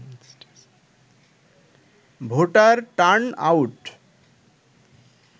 voter turn out